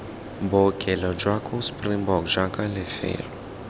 bookelo jwa springbok jaaka lefelo